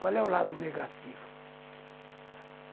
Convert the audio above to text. Qual é o lado negativo?